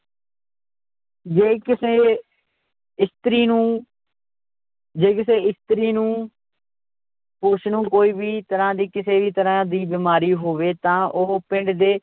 ਜੇ ਕਿਸੇ ਇਸਤਰੀ ਨੂੰ ਜੇ ਕਿਸੇ ਇਸਤਰੀ ਨੂੰ ਉਸ ਨੂੰ ਕੋਈ ਵੀ ਤਰ੍ਹਾਂ ਦੀ ਕਿਸੇ ਵੀ ਤਰ੍ਹਾਂ ਦੀ ਬਿਮਾਰੀ ਹੋਵੇ ਤਾਂ ਉਹ ਪਿੰਡ ਦੇ